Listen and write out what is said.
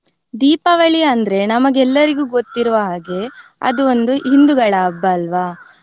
ದೀಪಾವಳಿ ಅಂದ್ರೆ ನಮಗೆಲ್ಲರಿಗೂ ಗೊತ್ತಿರುವ ಹಾಗೆ ಅದು ಒಂದು ಹಿಂದುಗಳ ಹಬ್ಬ ಅಲ್ವಾ.